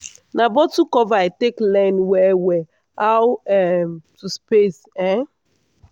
na bottle cover i take learn well well how um to space. um